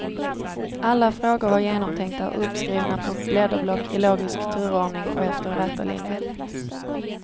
Alla frågor var genomtänkta och uppskrivna på blädderblock i logisk turordning och efter räta linjer.